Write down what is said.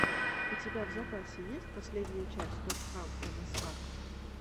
у тебя в запасе есть последняя часть стопхам мск